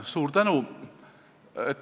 Suur tänu!